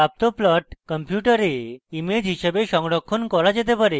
প্রাপ্ত plot আপনার কম্পিউটারে image হিসাবে সংরক্ষণ করা যেতে পারে